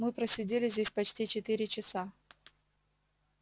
мы просидели здесь почти четыре часа